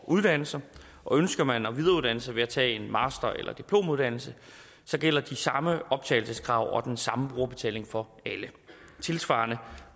uddanne sig og ønsker man at videreuddanne sig ved at tage en master eller diplomuddannelse gælder de samme optagelseskrav og den samme brugerbetaling for alle tilsvarende